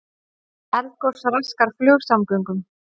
Eldgos raskar flugsamgöngum